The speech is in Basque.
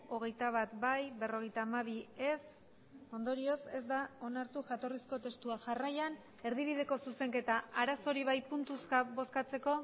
hogeita bat bai berrogeita hamabi ez ondorioz ez da onartu jatorrizko testua jarraian erdibideko zuzenketa arazorik bai puntuzka bozkatzeko